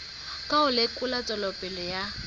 ka ho lekola tswelopele ya